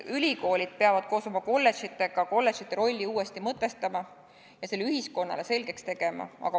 Ülikoolid peavad koos oma kolledžitega kolledžite rolli uuesti mõtestama ja selle ühiskonnale selgeks tegema.